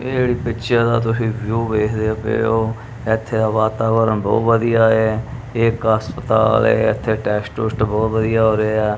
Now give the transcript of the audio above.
ਇਹ ਏੜੀ ਪਿੱਛੇ ਦਾ ਤੁਸੀ ਵਿਊਹ ਵੇਖਦੇ ਪਏ ਔ ਏੱਥੇ ਦਾ ਵਾਤਾਵਰਣ ਬਹੁਤ ਵਧੀਆ ਐ ਇੱਕ ਹਸਪਤਾਲ ਹੈ ਏੱਥੇ ਟੈੱਸਟ ਟੁਸਟ ਬਹੁਤ ਵਧੀਆ ਹੋ ਰਹੇ ਆ।